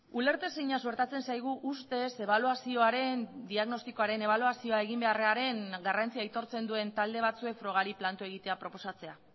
ulertezina suertatzen zaigu ustez ebaluazioaren diagnostikoaren ebaluazioa egin beharraren garrantzia aitortzen duen talde batzuek frogari planto egitea proposatzea